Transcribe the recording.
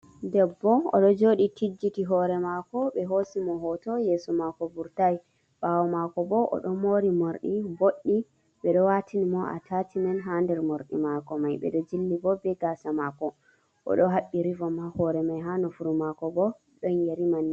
Debbo oɗo joɗi tijjiti hore mako ɓe hosi mo hoto yeso mako vurtai ɓawo mako bo oɗo mori morɗi boɗɗi ɓeɗo watini mo atashimen ha nder morɗi mako mai ɓeɗo jilli bo be gasa mako oɗo haɓɓi rivom ha hore mai ha nofuru mako bo ɗon yeri manne.